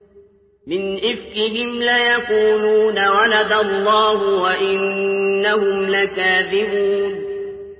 وَلَدَ اللَّهُ وَإِنَّهُمْ لَكَاذِبُونَ